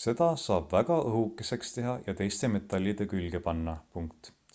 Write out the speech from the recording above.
seda saab väga õhukeseks teha ja teiste metallide külge panna